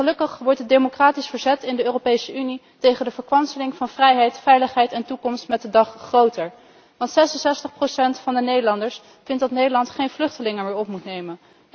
Gelukkig wordt het democratisch verzet in de Europese Unie tegen de verkwanseling van vrijheid, veiligheid en toekomst met de dag groter, want 66 van de Nederlanders vindt dat Nederland geen vluchtelingen meer moet opnemen.